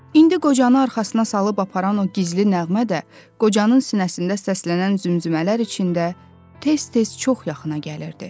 İndi qocanı arxasına salıb aparan o gizli nəğmə də qocanın sinəsində səslənən zümzümələr içində tez-tez çox yaxına gəlirdi.